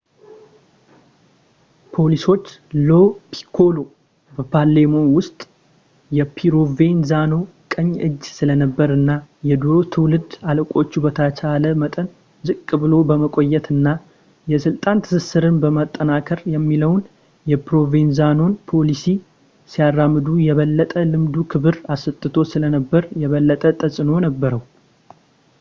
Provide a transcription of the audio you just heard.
ፖሊሶች ሎ ፒኮሎ በፓሌርሞ ውስጥ የፕሮቬንዛኖ ቀኝ እጅ ስለነበር እና የድሮ ትውልድ አለቆቹ በተቻለ መጠን ዝቅ ብሎ በመቆየት እና የስልጣን ትስስርን ማጠናከር የሚለውን የፕሮቬንዛኖን ፖሊሲ ሲያራምዱ የበለጠ ልምዱ ክብር አሰጥቶት ስለነበር የበለጠ ተጽዕኖ ነበረው